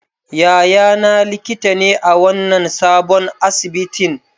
Yayana likita ne a wannan sabon asibitin.